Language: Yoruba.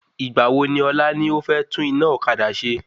Ìgbà wo ni ọ̀la ni o fẹ́ tún iná ọ̀kadà ṣe?